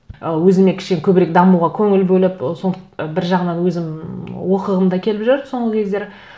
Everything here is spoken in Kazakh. ы өзіме кішкене көбірек дамуға көңіл бөліп ы бір жағынан өзім оқығым да келіп жүр соңғы кездері